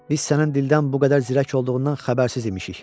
Biz sənin dildən bu qədər zirək olduğundan xəbərsiz imişik.